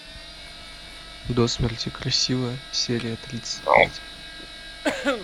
до смерти красивая серия тридцать пять